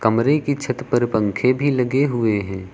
कमरे की छत पर पंखे भी लगे हुए हैं।